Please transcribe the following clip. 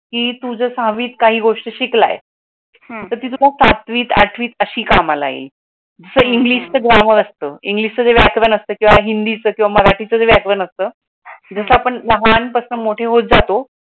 तू जो सहावी गोष्टी शिकला आहेस तो सातवीत आठवीत अशी कामाला येईल इंग्लिशच जे ग्रामर असत इंग्लिश वायकारण असत, हिन्दीच केवा मराठी च वायकरण असत, जस आपण लहान पसण मोडे होत जातो